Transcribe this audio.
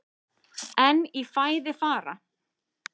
En í fæði fara